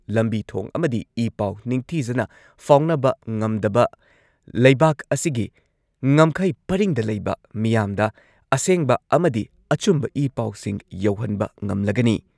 ꯂꯝꯕꯤ ꯊꯣꯡ ꯑꯃꯗꯤ ꯏ ꯄꯥꯎ ꯅꯤꯡꯊꯤꯖꯅ ꯐꯥꯎꯅꯕ ꯉꯝꯗꯕ ꯂꯩꯕꯥꯛ ꯑꯁꯤꯒꯤ ꯉꯝꯈꯩ ꯄꯔꯤꯡꯗ ꯂꯩꯕ ꯃꯤꯌꯥꯝꯗ ꯑꯁꯦꯡꯕ ꯑꯃꯗꯤ ꯑꯆꯨꯝꯕ ꯏ ꯄꯥꯎꯁꯤꯡ ꯌꯧꯍꯟꯕ ꯉꯝꯂꯒꯅꯤ ꯫